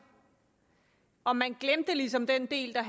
og man glemte ligesom den del der